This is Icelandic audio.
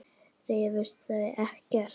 Rifust þið ekkert?